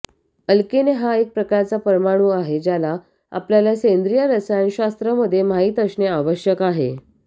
alkene हा एक प्रकारचा परमाणू आहे ज्याला आपल्याला सेंद्रीय रसायनशास्त्र मध्ये माहित असणे आवश्यक आहे